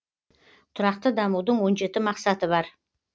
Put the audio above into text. тұрақты дамудың он жеті мақсаты бар